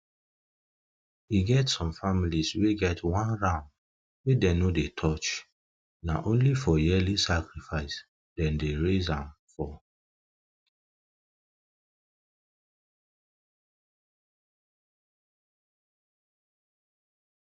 e get um some families wey get one ram wey dem no dey touch na only for yearly sacrifice them dey raise am for